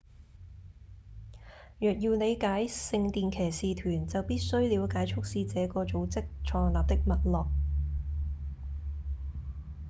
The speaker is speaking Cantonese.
若要了解聖殿騎士團就必須了解促使這個組織創立的脈絡